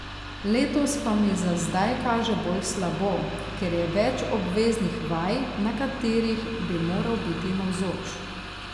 Letos pa mi za zdaj kaže bolj slabo, ker je več obveznih vaj, na katerih bi moral biti navzoč.